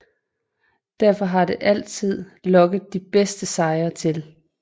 Derfor har den altid lokket de bedste sejlere til